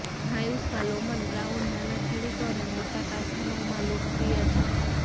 નાયુસ્કા Lohmann Brown નાના ખેડૂતો અને મોટા કારખાનાઓમાં લોકપ્રિય છે